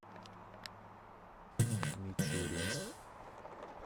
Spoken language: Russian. мичуринск